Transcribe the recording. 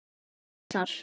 Eru það þessar?